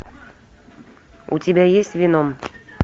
у тебя есть веном